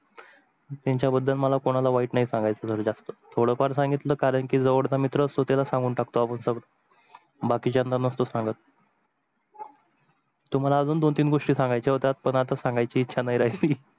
त्यांच्या बदल मला कोणाला वाईट नाही सांगायच, जास्त थोड फार सांगितल कारण जवडचा जो मित्र असतो. त्यालाच सांगून टाकतो सर्व बाकीच्यानं नसतो सांगत तुम्हाला अजून दोन तीन गोष्टी सांगायच्या होत्या पण आता सांगायची इच्छा नाही राहली.